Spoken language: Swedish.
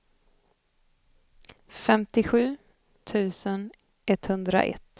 femtiosju tusen etthundraett